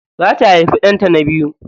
Za ta haifi ɗanta na biyu.